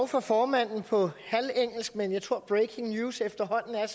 fra formanden på halvt engelsk men jeg tror at breaking news efterhånden er